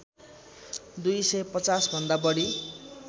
दुई सय पचाँस भन्दा बढी